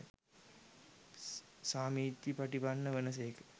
සාමීචිපටිපන්න වන සේක.